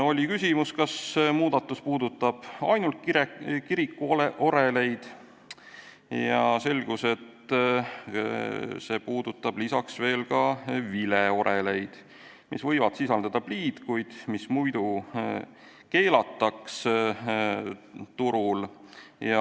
Oli küsimus, kas muudatus puudutab ainult kirikuoreleid, ja selgus, et see puudutab lisaks ka vileoreleid, mis võivad sisaldada pliid, kuid mis muidu keelataks turul.